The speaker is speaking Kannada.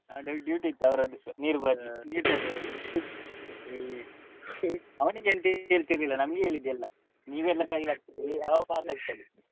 ಹಾ daily duty ಇತ್ತು ಅವರದ್ದು ನೀರು ಬರ್ಲಿ~ ನೀರು ತರ್ಲಿಕ್ಕೆ ಅವನಿಗೆ ಎಂತ ಹೇಳ್ತಿರ್ಲಿಲ್ಲಾ ನಮ್ಗೆ ಹೇಳಿದ್ದು ಎಲ್ಲಾ ನೀವೆಲ್ಲಾ fail ಆಗ್ತೀರಿ ಅವ pass ಆಗ್ತಾನೆ.